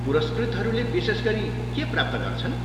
पुरस्कृतहरूले विशेष गरी के प्राप्त गर्छन्?